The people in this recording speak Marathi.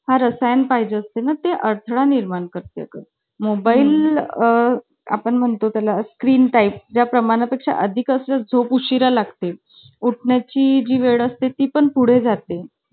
फार assign पाहिजे असते ना ते अडथळा निर्माण करतात मोबाईल आपण म्हणतो त्याला स्क्रीन टाइप ज्या प्रमाणा पेक्षा अधिक असेल झोप उशीरा लागतील उठण्या ची जी वेळ असते ती पण पुढे जाते